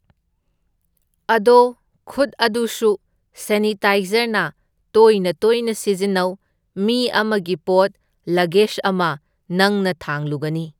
ꯑꯗꯣ ꯈꯨꯠ ꯑꯗꯨꯁꯨ ꯁꯦꯅꯤꯇꯥꯏꯖꯔꯅ ꯇꯣꯏꯅ ꯇꯣꯏꯅ ꯁꯤꯖꯤꯟꯅꯧ, ꯃꯤ ꯑꯃꯒꯤ ꯄꯣꯠ ꯂꯒꯦꯁ ꯑꯃ ꯅꯪꯅ ꯊꯥꯡꯂꯨꯒꯅꯤ꯫